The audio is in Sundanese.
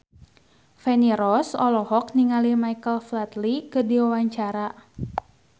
Feni Rose olohok ningali Michael Flatley keur diwawancara